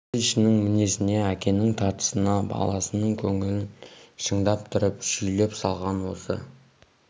ел ішінің мінезіне әкенің тартысына баласының көңілін шындап тұрып шүйлеп салғаны осы